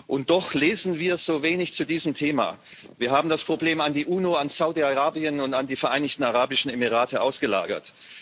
Und doch lesen wir so wenig zu diesem Thema. Wir haben das Problem an die UNO, an Saudi Arabien und an die Vereinigten Arabischen Emirate ausgelagert.